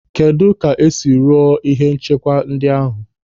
Kedụ ka esiri rụọ ihe nchekwa ndị ahụ?